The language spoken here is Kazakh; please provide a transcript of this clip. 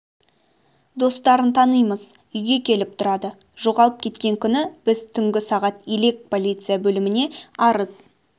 достарын танимыз үйге келіп тұрады жоғалып кеткен күні біз түнгі сағат елек полиция бөліміне арыз